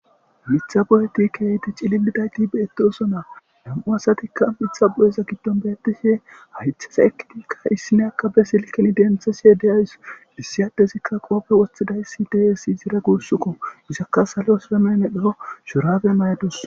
Mitha boyet keehippe cilildayt betosoana ,2 asatika Mitha boyeza gidon betishn haytheza eqidika issinya be silken denthashe de'awus . Issi adezika qope wothidaya de'es izra guusuko , izaka salo samaye medho shurabe mayadus.